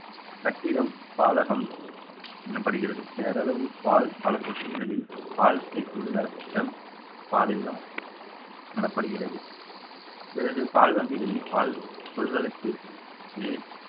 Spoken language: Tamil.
கட்டிடம் பாலகம் எண்ணப்படுகிறது பேரளவு பால் பல தொட்டிகளில் பால் தேக்கியுள்ள இடம் பால் இல்லம் எனப்படுகிறது பிறகு பால் வண்டிகளில் பால் கொள்கள